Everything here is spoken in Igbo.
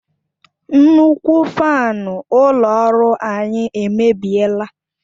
Nnukwu fanu ulo ọrụ anyi emebiela